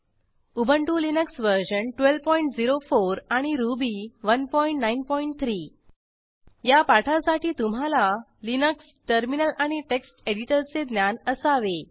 Ubuntu Linux वर्जन1204 आणि Ruby 193 या पाठासाठी तुम्हाला लिनक्स टर्मिनल आणि टेक्स्ट एडिटरचे ज्ञान असावे